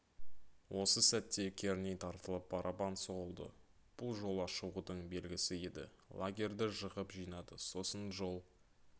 осы сәтте керней тартылып барабан соғылды бұл жолға шығудың белгісі еді лагерді жығып жинады сосын жол